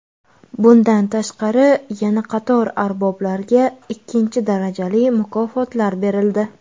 Bundan tashqari, yana qator arboblarga ikkinchi darajali mukofotlar berildi.